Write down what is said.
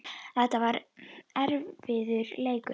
Þetta var erfiður leikur.